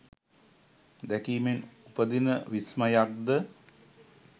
දැකීමෙන් උපදින විස්මයක් ද?